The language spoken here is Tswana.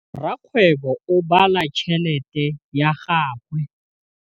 Rakgwêbô o bala tšheletê ya gagwe.